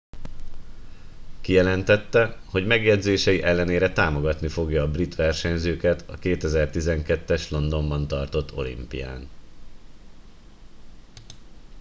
kijelentette hogy megjegyzései ellenére támogatni fogja a brit versenyzőket a 2012 es londonban tartott olimpián